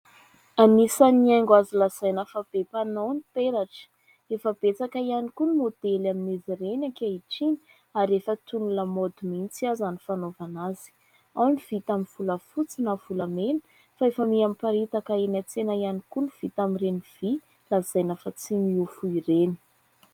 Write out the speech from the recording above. Anisan'ny haingo azo lazaina fa be mpanao ny peratra. Efa betsaka ihany koa ny maodely amin'izy ireny ankehitriny ary efa toy ny lamaody mihitsy aza ny fanaovana azy. Ao ny vita amin'ny volafotsy na volamena fa efa miparitaka eny an-tsena ihany koa ny vita amin'ireny vy lazaina fa tsy miofo ireny.